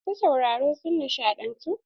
Masu sauraro sun nishaɗantu.